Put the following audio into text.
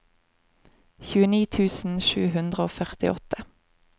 tjueni tusen sju hundre og førtiåtte